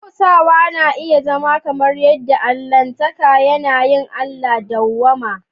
Bautawa na iya zama kamar yadda Allahntaka yanayin Allah; dawwama